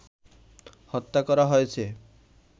হত্যা করা হয়েছে